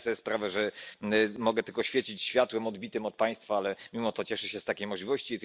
Zdaję sobie sprawę, że mogę tylko świecić światłem odbitym od Państwa, ale mimo to cieszę się z takiej możliwości.